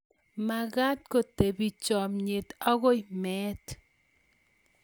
mekat ko tebie chamyet agoi meet